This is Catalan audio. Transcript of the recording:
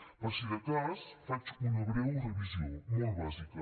per si de cas faig una breu revisió molt bàsica